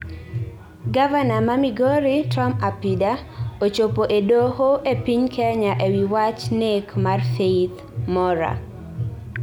Gavana ma migori Tom Apida, ochopo e doho e Piny Kenya e wi wach nek mar Faith Mora